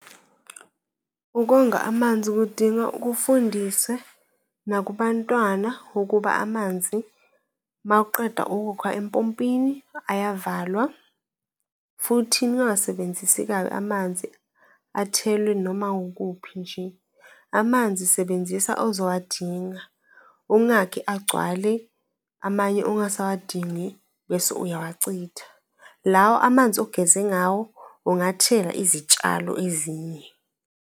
Ukonga amanzi kudinga kufundiswe nakubantwana ukuba amanzi uma uqeda ukukha empompini ayavalwa, futhi ningawasebenzisi kabi, amanzi athelwe noma wukuphi nje. Amanzi sebenzisa ozowadinga, ungakhi agcwale, amanye ongasawadingi bese uyawacitha. Lawa amanzi ogeze ngawo ungathela izitshalo ezinye.